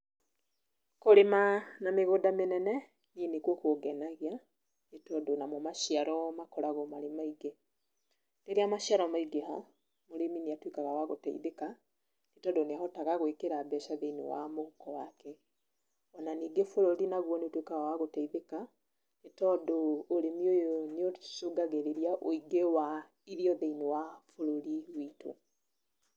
Kũrĩma na mĩgũnda mĩnene niĩ nĩkuo kũngenagia tondũ namo maciaro namo makoragwo marĩ maingĩ. Rĩrĩa maciaro maingĩha, mũrĩmi nĩ atuĩkaga wa gũteithĩka nĩ tondũ nĩ ahotaga gwĩkĩra mbeca thĩiniĩ wa mũhuko wake, ona ningĩ bũrũri nĩ ũtwĩkaga wa gũteithĩka nĩ tondũ ũrĩmi ũyũ nĩ ũcũngagĩrĩria wũingĩ wa irio thĩiniĩ wa bũrũri witũ.